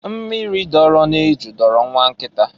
Mmiri doro n'eju dọọrọ nwa nkịta.